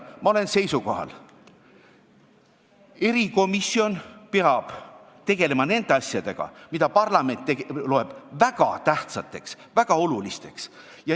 Ma olen seisukohal: erikomisjon peab tegelema nende asjadega, mida parlament loeb väga tähtsateks ja väga olulisteks.